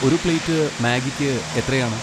ഒരു പ്ലേറ്റ് മാഗിക്ക് എത്രയാണ്?